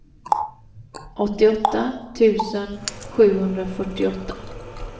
åttioåtta tusen sjuhundrafyrtioåtta